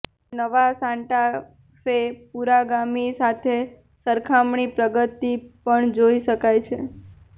જ્યારે નવા Santa Fe પુરોગામી સાથે સરખામણી પ્રગતિ પણ જોઇ શકાય છે